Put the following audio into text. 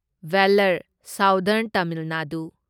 Vellore southern Tamil Nadu